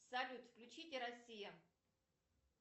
салют включите россия